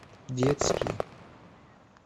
детские